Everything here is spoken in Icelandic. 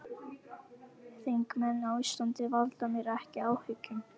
Þingmenn á Íslandi valda mér ekki áhyggjum.